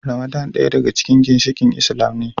Ramadan daya daga cikin ginshikain Islam ne.